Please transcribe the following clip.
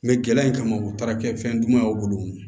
gɛlɛya in kama u taara kɛ fɛn dumanw bolo